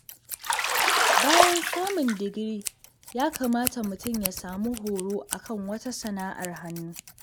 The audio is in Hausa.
Bayan samun digiri, ya kamata mutum ya samu horo a kan wata sana'ar hannu.